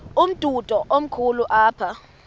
umdudo komkhulu apha